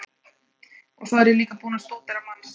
Og svo er ég líka búinn að stúdera manns